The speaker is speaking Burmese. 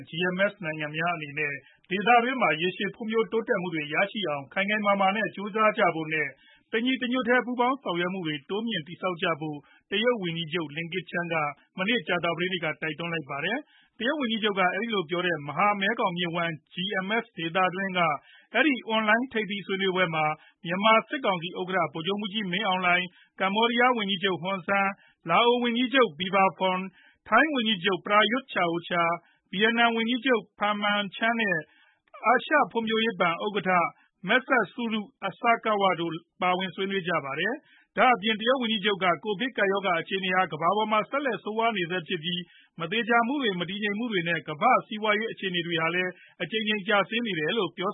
GMS နိုင်ငံများအနေနဲ့ ဒေသတွင်းမှာ ရေရှည်ဖွံဖြိုးတိုးတက်မှုတွေ ရရှိနိုင်အောင် ခိုင်ခိုင်မာမာနဲ့ ကြိုစားကြဖို့ နဲ့ တညီတညွတ်တည်း ပူးပေါင်းဆောင်ရွက်မှုတွေ တိုးမြှင့်ပြီး တည်ဆောက်ကြဖို့ တရုတ်ဝန်ကြီးချုပ် Li Keqiang က မနေ့ ကြာသပတေးနေ့က တိုက်တွန်းလိုက်ပါတယ်။ တရုတ်ဝန်ကြီးချုပ်က အဲဒီလိုပြောတဲ့ မဟာမဲခေါင်မြစ်ဝှမ်း GMS ဒေသတွင်းက အဲဒီ အွန်လိုင်း ထိပ်သီးဆွေးနွေးပွဲမှာ မြန်မာစစ်ကောင်စီဥက္ကဌ ဗိုလ်ချုပ်မှူးကြီး မင်းအောင်လှိုင် ၊ ကမ္ဘောဒီးယားဝန်ကြီးချုပ် Hun Sen ၊ လာအို ဝန်ကြီးချုပ် Phankham Viphavanh ၊ ထိုင်းဝန်ကြီးချုပ် Praytut Chan o Cha ၊ ဗီယက်နမ်ဝန်ကြီးချုပ် Pham Minh Chinh တို့နဲ့အတူ အာရှဖွံ့ဖြိုးရေးဘဏ် ဥက္ကဌ Masatsugu Asakawa တို့လည်း ဆွေးနွေးခဲ့ကြပါတယ်။ ဒါအပြင် တရုတ်ဝန်ကြီးချုပ် က ကိုဗစ်ကပ်ရောဂါ အခြေအနေဟာ ကမ္ဘာပေါ်မှာ ဆက်လက်ဆိုးဝါးနေစဲဖြစ်ပြီး မသေချာမှုတွေ မတည်မငြိမ်မှုတွေနဲ့ ကမ္ဘာစီးပွားရေးအခြေအနေတွေဟာလည်း အကြိမ်ကြိမ်ကျဆင်းနေတယ်လို့ ပြော